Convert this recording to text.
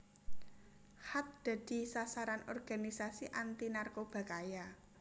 Khat dadi sasaran organisasi anti narkoba kaya